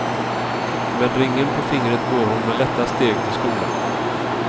Med ringen på fingret går hon med lätta steg till skolan.